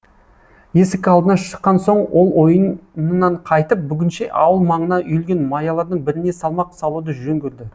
есік алдына шыққан соң ол ойынан қайтып бүгінше ауыл маңына үйілген маялардың біріне салмақ салуды жөн көрді